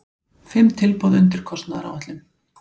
Fimm tilboð undir kostnaðaráætlun